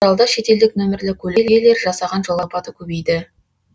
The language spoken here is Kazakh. оралда шетелдік нөмірлі көлік иелері жасаған жол апаты көбейді